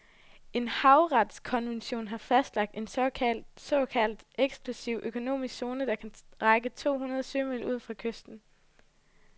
En havretskonvention har fastlagt en såkaldt eksklusiv økonomisk zone, der kan række to hundrede sømil ud fra kysten.